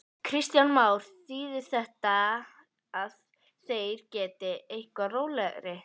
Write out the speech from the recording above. Kristján Már: Þýðir þetta að þeir geti verið eitthvað rólegri?